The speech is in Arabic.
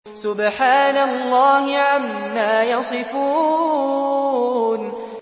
سُبْحَانَ اللَّهِ عَمَّا يَصِفُونَ